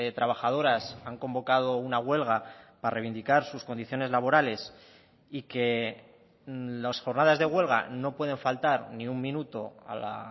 trabajadoras han convocado una huelga para reivindicar sus condiciones laborales y que las jornadas de huelga no pueden faltar ni un minuto a la